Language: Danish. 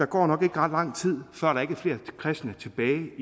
går ret lang tid før der ikke er flere kristne tilbage